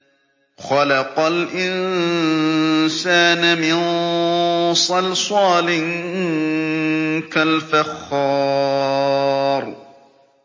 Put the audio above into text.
خَلَقَ الْإِنسَانَ مِن صَلْصَالٍ كَالْفَخَّارِ